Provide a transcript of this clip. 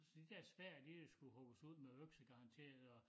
Så de der spær de øh skulle hugges ud med økse garanteret og